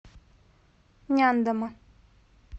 няндома